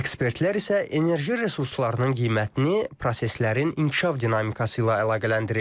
Ekspertlər isə enerji resurslarının qiymətini proseslərin inkişaf dinamikası ilə əlaqələndirirlər.